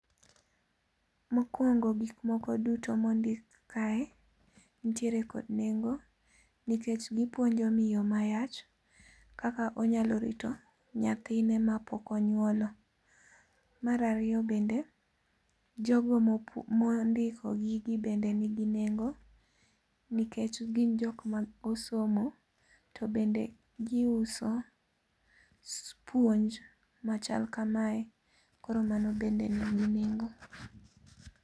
Mokuongo gik moko duto mondik kae nitiere kod nengo nikech gipuonjo miyo mayach kaka onyalo rito nyathine mapok onyuolo. Mar ariyo bende jogo mondiko gini bende nigi nengo, nikech gin jok ma osomo to bende giuso puonj machal kamae. Koro mano bende nigi nengo.